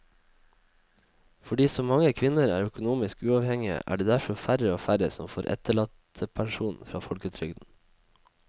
Fordi så mange kvinner er økonomisk uavhengige er det derfor færre og færre som får etterlattepensjon fra folketrygden.